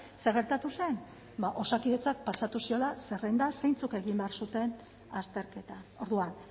zer gertatu zen bada osakidetzak pasatu ziola zerrenda zeintzuk egin behar zuten azterketa orduan